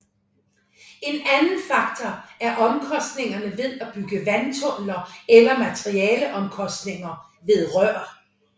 En anden faktor er omkostningerne ved at bygge vandtunneler eller materialeomkostninger ved rør